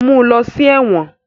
Mú ló sí èwòn.